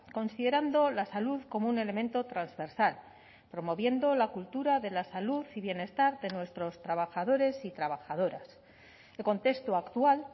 considerando la salud como un elemento transversal promoviendo la cultura de la salud y bienestar de nuestros trabajadores y trabajadoras el contexto actual